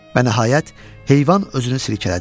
Və nəhayət, heyvan özünü silkələdi.